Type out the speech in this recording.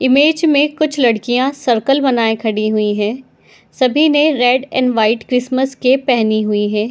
Image में कुछ लड़कियाँ सर्किल बनाये खड़ी हुई है सभी ने red and white Christmas cap पहनी हुई है ।